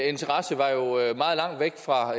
interesse var jo meget langt væk fra